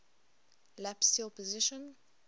lap steel position